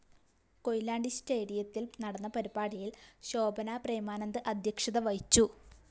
കൊയിലാണ്ടി സ്റ്റേഡിയത്തില്‍ നടന്ന പരിപാടിയില്‍ ശോഭനാ പ്രേമാനന്ദ് അദ്ധ്യക്ഷത വഹിച്ചു